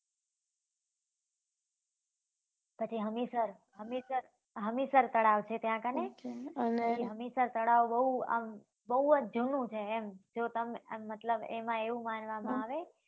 પછી હમીસર હમીસર હમીસર તળાવ છે ત્યાં કને અચ્છા અને હમીસર બઉ આમ બઉ જ જુનું છે આમ જો તમને